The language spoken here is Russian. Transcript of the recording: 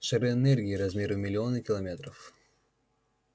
шары энергии размером в миллионы километров